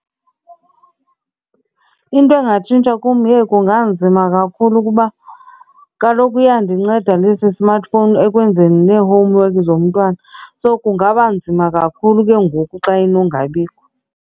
Into angatshintsha ku, yheyi kunganzima kakhulu kuba kaloku iyandinceda nesi smartphone ekwenzeni nee-homework zomntwana so kungaba nzima kakhulu ke ngoku xa inongabikho.